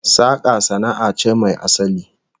Saka sana'a ce mai asali